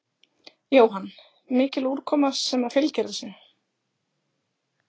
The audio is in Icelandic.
Jóhann: Mikil úrkoma sem að fylgir þessu?